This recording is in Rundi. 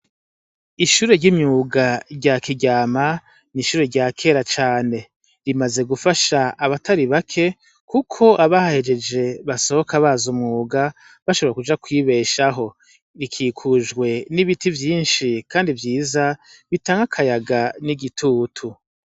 Ishure ry'imyuga rya kiryama n'ishure rya kera cane rimaze gufasha abatari bake, kuko abahehejeje basohoka baza umuga bashobora kuja kwibeshaho rikikujwe n'ibiti vyinshi, kandi vyiza bitanke akayaga n'igitutu.